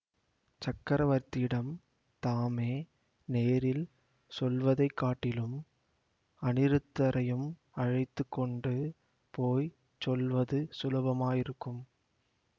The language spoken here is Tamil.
சக்கரவர்த்தியிடம் தாமே நேரில் சொல்வதை காட்டிலும் அநிருத்தரையும் அழைத்து கொண்டு போய் சொல்வது சுலபமாயிருக்கும்